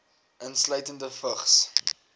insluitende vigs